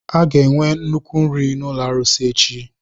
A ga-enwe nnukwu nri n'ụlọ arụsị echi.